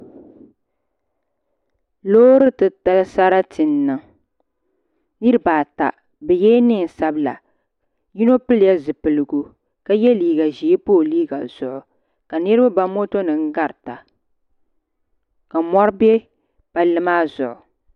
Loori titali sarati n niŋ Niraba ata bi yɛla neen sabila yino pilila zipiligu ka yɛ liiga ʒiɛ pa o liiga zuɣu ka niraba ba moto nim garita ka mɔri bɛ palli maa zuɣu